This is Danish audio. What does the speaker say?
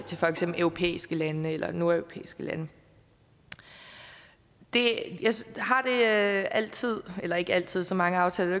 til for eksempel europæiske lande eller nordeuropæiske lande det er altid eller ikke altid så mange aftaler